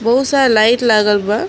बहुत सारा लाइट लागल बा।